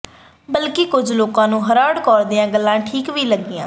ਬਲਕਿ ਕੁਝ ਲੋਕਾਂ ਨੂੰ ਹਾਰਡ ਕੌਰ ਦੀਆਂ ਗੱਲਾਂ ਠੀਕ ਵੀ ਲੱਗੀਆਂ